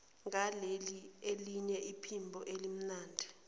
ngaleliya phimbo elimnandi